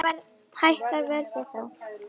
Hækkar verðið þá?